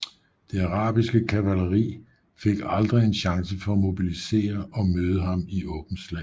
Det arabiske kavaleri fik aldrig en chance for at mobilisere og møde ham i åbent slag